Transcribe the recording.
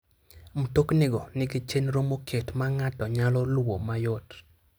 Mtoknigo nigi chenro moket ma ng'ato nyalo luwo mayot.